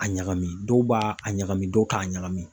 A ɲagami dɔw b'a a ɲagami dɔw t'a ɲagami